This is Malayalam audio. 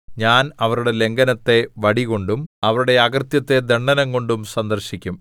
ഞാൻ അവരുടെ ലംഘനത്തെ വടികൊണ്ടും അവരുടെ അകൃത്യത്തെ ദണ്ഡനംകൊണ്ടും സന്ദർശിക്കും